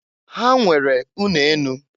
Ha nwere ụnọ enụ.